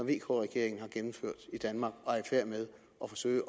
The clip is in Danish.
vk regeringen har gennemført i danmark og er i færd med at forsøge